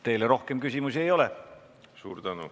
Teile rohkem küsimusi ei ole.